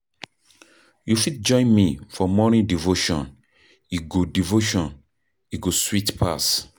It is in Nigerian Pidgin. You fit join me for morning devotion, e go devotion, e go sweet pass.